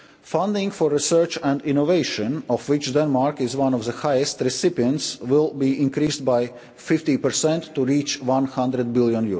citizens. Funding for research and innovation, of which Denmark is one of the highest recipients, will be increased by 50 to reach EUR 100